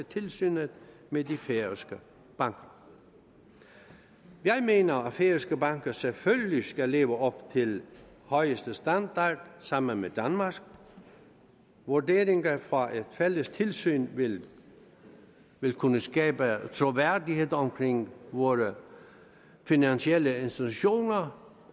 tilsynet med de færøske banker jeg mener at færøske banker selvfølgelig skal leve op til højeste standard sammen med danmark vurderingerne fra et fælles tilsyn vil vil kunne skabe troværdighed omkring vore finansielle institutioner